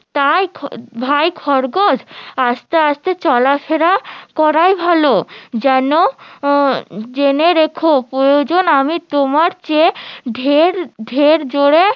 তাই ভাই খরগোশ আস্তে আস্তে চলাফেরা করাই ভালো যেন জেনে রেখো প্রয়োজন আমি তোমার চেয়ে ঢের ঢের